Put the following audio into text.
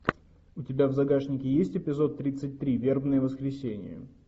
у тебя в загашнике есть эпизод тридцать три вербное воскресенье